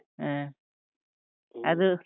ಹ ಅದು.